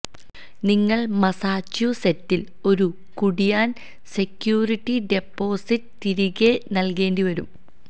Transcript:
നിങ്ങൾ മസാച്യുസെറ്റിൽ ഒരു കുടിയാൻ സെക്യൂരിറ്റി ഡെപ്പോസിറ്റ് തിരികെ നൽകേണ്ടിവരും